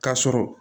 K'a sɔrɔ